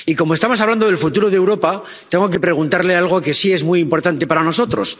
Y, como estamos hablando del futuro de Europa, tengo que preguntarle algo que sí es muy importante para nosotros.